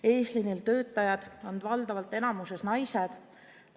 Eesliinil töötajad on valdavalt naised.